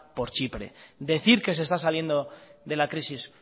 por chipre decir que se está saliendo de la crisis